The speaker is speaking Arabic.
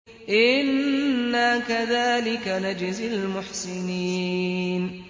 إِنَّا كَذَٰلِكَ نَجْزِي الْمُحْسِنِينَ